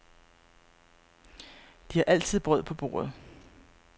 De har altid brød på bordet.